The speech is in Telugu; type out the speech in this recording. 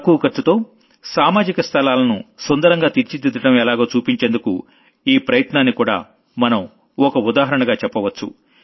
తక్కువ ఖర్చుతో సామాజిక స్థలాలను సుందరంగా తీర్చిదిద్దడం ఎలాగో చూపించేందుకు ఈ ప్రయత్నాన్నికూడా మనం ఒక ఉదాహరణగా చెప్పొచ్చు